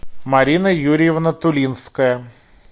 марина юрьевна тулинская